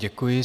Děkuji.